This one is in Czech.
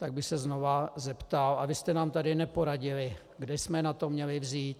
Tak bych se znova zeptal - a vy jste nám tady neporadili, kde jsme na to měli vzít.